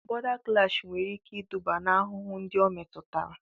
Bọ̀da klash nwere ike iduba n'ahụhụ ndị o metụtara